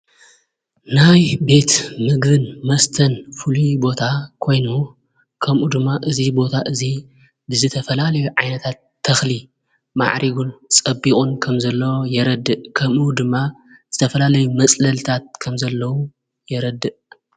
ናይ ቤት ምግርን መስተን ፍሉይ ቦታ ኮይኑ ከምኡ ድማ እዙይ ቦታ እዙይ ብዘተፈላለዩ ዓይነታት ተኽሊ መዕሪጉን ጸቢኦን ከም ዘለዉ የረድእ ከምኡ ድማ ዝተፈላለዩ መጽለልታት ከም ዘለዉ የረድእ።